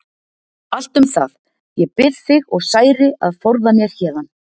Allt um það, ég bið þig og særi að forða mér héðan.